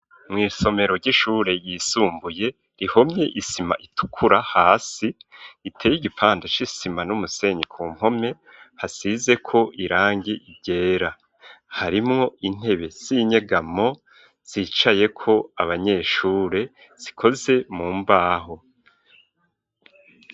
Mw,Isomero ry'Ishure yisumbuye rihomye isima itukura hasi iteye igipanda c'isima n'umusenyi ku mpome hasize ko irangi ryera harimwo intebe zinyegamo zicayeko abanyeshure zikoze mu mbaho.